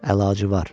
Əlacı var.